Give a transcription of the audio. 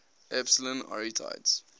epsilon arietids